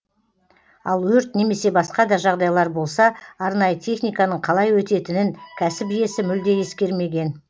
ал өрт немесе басқа да жағдайлар болса арнайы техниканың қалай өтетінін кәсіп иесі мүлде ескермеген